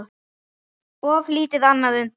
Of lítið annað undir.